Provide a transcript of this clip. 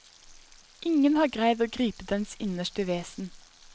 Ingen har greid å gripe dens innerste vesen.